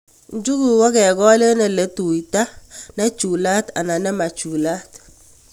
Njuguk ko kekol eng' tutait ne chulat anan ne ma chulat